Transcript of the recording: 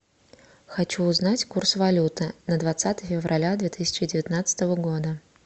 хочу узнать курс валюты на двадцатое февраля две тысячи девятнадцатого года